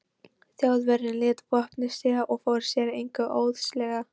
Þjóðverjinn lét vopnið síga og fór sér að engu óðslega.